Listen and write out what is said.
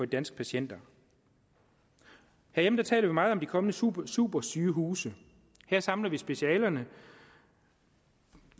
danske patienter herhjemme taler vi meget om de kommende supersygehuse her samles specialerne